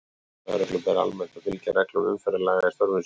Lögreglu ber almennt að fylgja reglum umferðarlaga í störfum sínum.